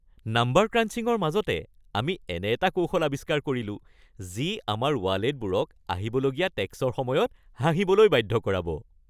Number ক্ৰাঞ্চিংৰ মাজতে, আমি এনে এটা কৌশল আৱিস্কাৰ কৰিলো যি আমাৰ ৱালেটবোৰক আহিবলগীয়া টেক্সৰ সময়ত হাঁহিবলৈ বাধ্য কৰাব!